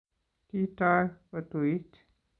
Kitoy kotuit